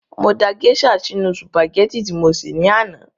Mo da gèésà sínu sùpàgẹ́tì tí mo sè ní àná